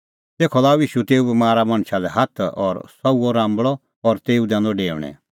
तेखअ लाअ ईशू तेऊ बमारा मणछा लै हाथ और सह हुअ राम्बल़अ और तेऊ दैनअ डेऊणैं